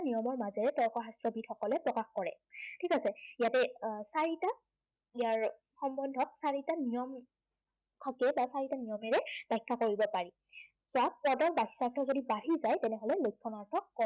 নিয়মৰ মাজেৰে তৰ্ক শাস্ত্ৰবীদ সকলে প্ৰকাশ কৰে। ঠিক আছে। ইয়াতে আহ চাৰিটা, ইয়াৰ সম্বন্ধক চাৰিটা নিয়ম আছে বা চাৰিটা নিয়মেৰে ব্য়াখ্য়া কৰিব পাৰি। যাক ইয়াতে যদি বাচ্য়াৰ্থ যদি বাঢ়ি যায়, তেনেহলে লক্ষণাৰ্থ